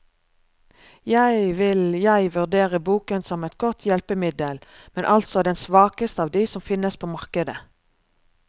Jeg vil jeg vurdere boken som et godt hjelpemiddel, men altså den svakeste av de som finnes på markedet.